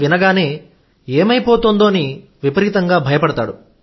వినగానే ఏమైపోతుందోనని విపరీతంగా భయపడతాడు